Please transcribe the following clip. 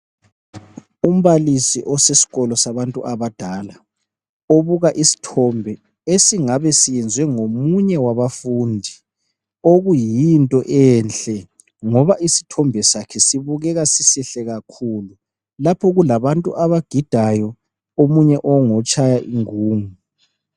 Umbalisi oseskolo sabantu abadala, ubuka isithombe esingabe siyenziwe ngomunye wabafundi, okuyinto enhle ngoba isithombe sakhe sibukeka sisihle kakhulu lapho kulabantu abagidayo omunye engotshaya ingungu.